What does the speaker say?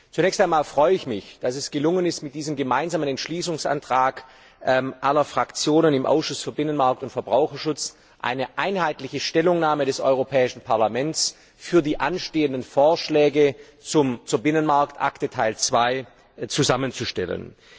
Zunächst einmal freue ich mich, dass es gelungen ist, mit diesem gemeinsamen Entschließungsantrag aller Fraktionen im Ausschuss für Binnenmarkt und Verbraucherschutz eine einheitliche Stellungnahme des Europäischen Parlaments für die anstehenden Vorschläge zur Binnenmarktakte Teil II zusammenzustellen.